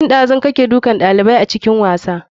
Tun ɗazu yake dukan ɗalibai a filin wasa.